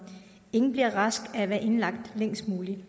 ingen bliver rask af at være indlagt længst muligt